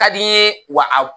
Ka di n ye wa